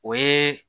O ye